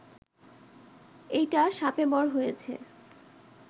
এইটা শাপেবর হয়েছে